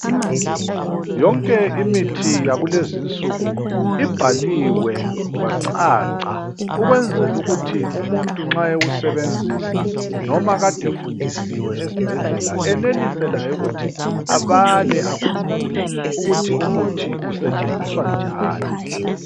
Yonke imithi yakulezinsuku ibhaliwe kwacaca ukwenzela ukuthi umuntu nxa ewusebenzisa noma Kade efundisiwe esibhedlela enelise laye ukuthi able akhumbule ukuthi umuthi usetshenziswa njani.